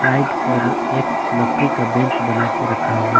एक आईड पर एक लकड़ी का बेंच बना के रखा हुआ--